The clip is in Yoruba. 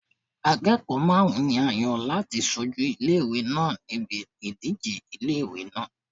Akẹ́kọ̀ọ́ márùn-ún ni a yàn láti ṣojú ilé ìwé náà níbi ìdíje ilé ìwé náà.